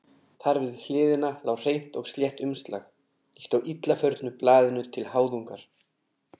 Þar við hliðina lá hreint og slétt umslag, líkt og illa förnu blaðinu til háðungar.